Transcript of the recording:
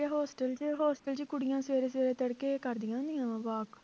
hostel 'ਚ hostel 'ਚ ਕੁੜੀਆਂ ਸਵੇਰੇ ਸਵੇਰੇ ਤੜਕੇ ਕਰਦੀਆਂ ਹੁੰਦੀਆਂ ਵਾ walk